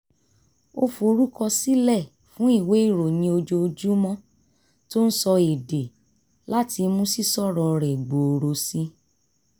ó forúkọsílẹ̀ fún ìwé ìròyìn ojoojúmọ́ tó ń sọ èdè láti mú sísọ̀rọ̀ rẹ̀ gbòòrò sí i